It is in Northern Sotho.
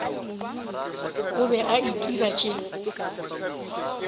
o be a itira tše